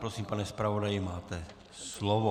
Prosím, pane zpravodaji, máte slovo.